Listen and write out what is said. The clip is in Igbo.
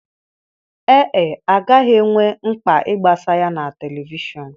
Ee e, a gaghị enwe mkpa ịgbasa ya na telivishọn.